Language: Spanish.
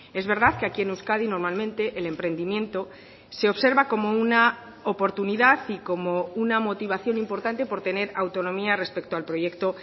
es verdad que aquí en euskadi normalmente el emprendimiento se observa como una oportunidad y como una motivación importante por tener autonomía respecto al proyecto